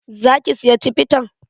Za ki siya cibitan?